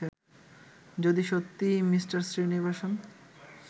যদি সত্যিই মি. শ্রীনিবাসন